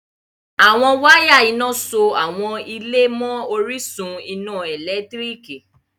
Awọn wàya iná sọ awọn ilẹ̀ mán ọ̀rìṣun iná èlẹ́tiríkì